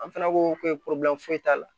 An fana ko foyi t'a la